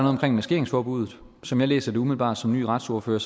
omkring maskeringsforbuddet som jeg læser det umiddelbart som ny retsordfører